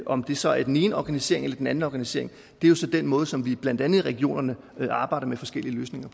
om det så er den ene organisering eller den anden organisering er jo den måde som vi blandt andet i regionerne arbejder med forskellige løsninger